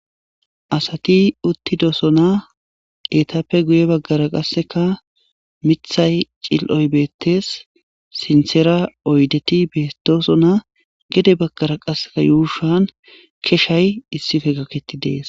asati uttidosona eetappe guye baggara qasseka mithay cil7oy beettes sinthera oydeti betosona gede baggara qasseka yuushan keshay issife gakketi dees